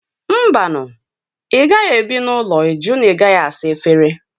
Mba nụ! ị gaghị ebi n'ụlọ ịjụ na ị gaghị asa efere